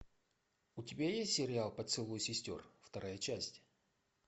у тебя есть сериал поцелуй сестер вторая часть